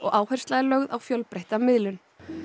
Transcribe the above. áhersla lögð á fjölbreytta miðlun